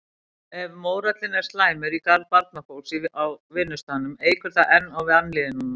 Ef mórallinn er slæmur í garð barnafólks á vinnustaðnum eykur það enn á vanlíðanina.